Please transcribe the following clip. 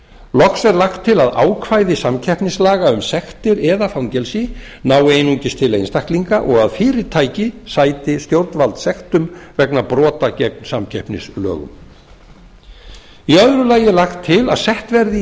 loks er lagt til að ákvæði samkeppnislaga um sektir eða fangelsi nái einungis til einstaklinga og að fyrirtæki sæti stjórnvaldssektum vegna brota gegn samkeppnislögum annars lagt er til að sett verði í